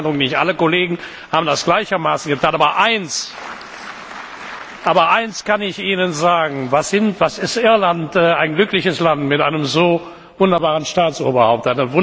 Ich hatte den Eindruck, nicht alle Kollegen haben das gleichermaßen getan. Aber eines kann ich Ihnen sagen Was ist Irland für ein glückliches Land mit einem so wunderbaren Staatsoberhaupt!